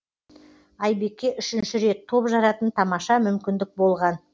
айбекке үшінші рет топ жаратын тамаша мүмкіндік болған